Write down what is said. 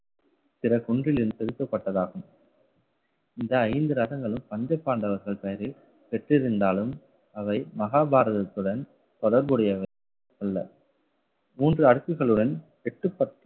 பிற குன்றிலிருந்து செலுத்தப்பட்டதாகும் இந்த ஐந்து ரகங்களும் பஞ்ச பாண்டவர்கள் பெயரில் பெற்றிருந்தாலும் அவை மகாபாரதத்துடன் தொடர்புடையவை அல்ல. மூன்று அடுக்குகளுடன் எட்டு பத்து